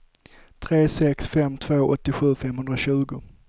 tre sex fem två åttiosju femhundratjugo